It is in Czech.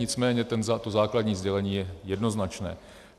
Nicméně to základní sdělení je jednoznačné.